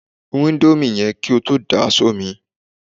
Rún íńdómì yẹn kí o tó dà á sómi!